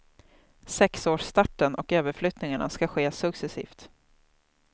Sexårsstarten och överflyttningarna skall ske succesivt.